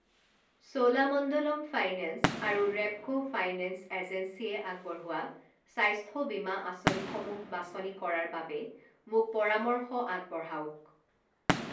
Cholamandalam finance আৰু Repco finance এজেঞ্চিয়ে আগবঢ়োৱা স্বাস্থ্য বীমা আঁচনিসমূহ বাছনি কৰাৰ বাবে মোক পৰামৰ্শ আগবঢ়াওক।